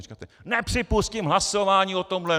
A říkáte: Nepřipustím hlasování o tomhle!